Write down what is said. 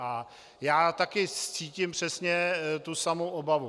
A já taky cítím přesně tu samou obavu.